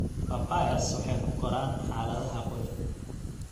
Papayas waxay ku koraan xaaladaha qoyan.